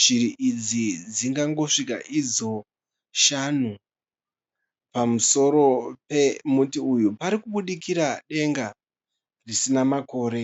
Shiri idzi dzingangosvika idzo shanu. Pamusoro pomuti uyu pari kubudikira denga risina makore.